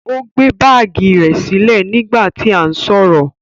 O gbe baagi rẹ silẹ nigba ti a n sọrọ.